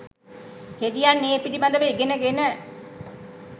හෙදියන් ඒ පිළිබඳව ඉගෙන ගෙන